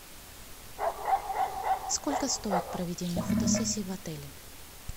сколько стоит проведение фотосессии в отеле